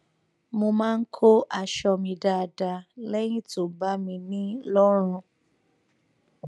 mo máa ń kó aṣọ mi dáadáa lẹyìn tó bá mi ní lọrùn